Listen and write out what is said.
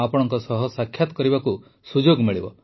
ଆପଣଙ୍କ ସହ ସାକ୍ଷାତ କରିବାକୁ ସୁଯୋଗ ମିଳିବ